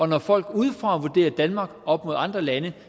når folk udefra vurderer danmark op mod andre lande